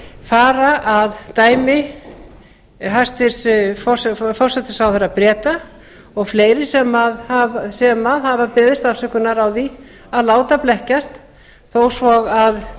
fara að dæmi hæstvirtur forsætisráðherra breta og fleiri sem hafa beðist afsökunar á að láta blekkjast þó svo að